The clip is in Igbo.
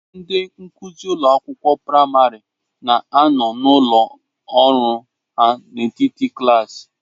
Ndị nkuzi ụlọ akwụkwọ praịmarị na-anọ n'ọnụ ụlọ ọrụ ha n'etiti klaasị.